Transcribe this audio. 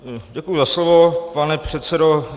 Děkuji za slovo, pane předsedo.